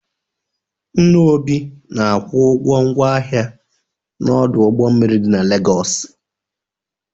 Nna Obi na-akwụ ụgwọ ngwa ahịa n'ọdụ ụgbọ mmiri dị na Legọsị.